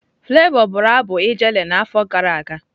Flavour bụrụ abụ Ijele n'afọ gara aga.